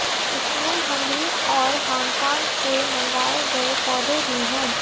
इसमें हंगरी और हांगकांग से मंगाए गए पौधे भी हैं